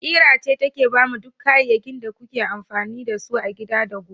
Ƙira ce take bamu duk kayyakin da kuke amfani da su a gida da gona.